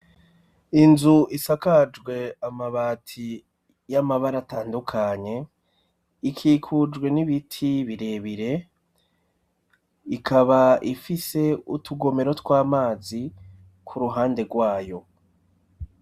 Inzu isakajwe amabati y'amabara atandukanye ikikujwe n'ibiti birebire ikaba ifise utugomero tw'amazi ku ruhande rwayo.